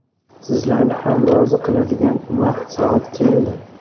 Sizlarni ham rozi qiladigan vaqt-soat keldi.